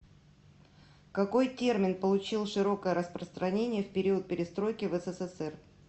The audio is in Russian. какой термин получил широкое распространение в период перестройки в ссср